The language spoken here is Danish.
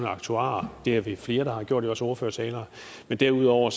aktuarer det er vi flere der har gjort i vores ordførertaler men derudover